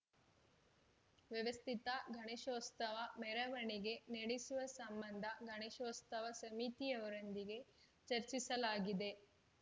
ವ್ಯವಸ್ಥಿತ ಗಣೇಶೋತ್ಸವ ಮೆರವಣಿಗೆ ನಡೆಸುವ ಸಂಬಂಧ ಗಣೇಶೋತ್ಸವ ಸಮಿತಿಯವರೊಂದಿಗೆ ಚರ್ಚಿಸಲಾಗಿದೆ